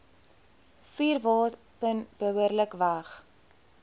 vuurwapen behoorlik weg